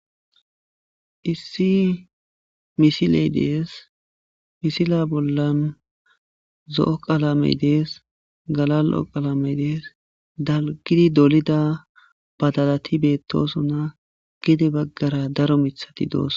Issi misileydees misila bollan zo7o qalamedees gala lo7o qalamedees dalgidi dolida badadati beettosona gide baggara daro mithati doos